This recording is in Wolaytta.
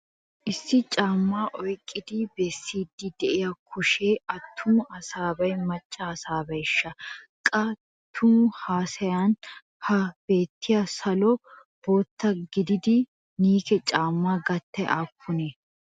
Issi caammaa oyqqidi bessidi diya kushshee attuma asabeeye maccaasabeshsha? Qa tummu haasayaan ha beettiya soolee bootta gidido Nike caammaa gatee aappuneeshsha?